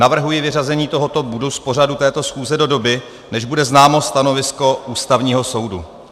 navrhuji vyřazení tohoto bodu z pořadu této schůze do doby, než bude známo stanovisko Ústavního soudu.